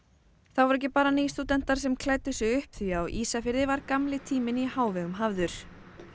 það voru ekki bara nýstúdentar sem klæddu sig upp á því á Ísafirði var gamli tíminn í hávegum hafður